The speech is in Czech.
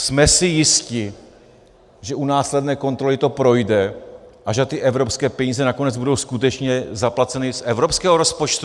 Jsme si jisti, že u následné kontroly to projde a že ty evropské peníze nakonec budou skutečně zaplaceny z evropského rozpočtu?